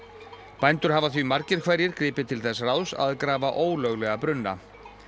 bændur hafa því margir hverjir gripið til þess ráðs að grafa ólöglega brunna